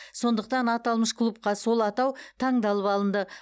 сондықтан аталмыш клубқа сол атау таңдалып алынды